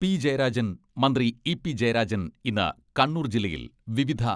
P Jayarajan മന്ത്രി ഇ പി ജയരാജൻ ഇന്ന് കണ്ണൂർ ജില്ലയിൽ വിവിധ